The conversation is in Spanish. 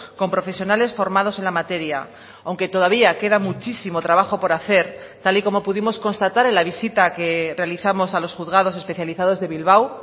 con profesionales formados en la materia aunque todavía queda muchísimo trabajo por hacer tal y como pudimos constatar en la visita que realizamos a los juzgados especializados de bilbao